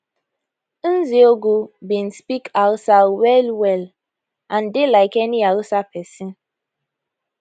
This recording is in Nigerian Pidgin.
nzeogwu bin speak hausa wellwell and dey like any hausa pesin